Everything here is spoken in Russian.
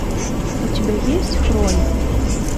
у тебя есть хроник